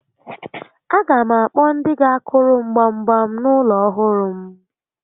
A ga m akpọ ndị ga akụrụ m gbam gbam n'ulo ọhụrụ m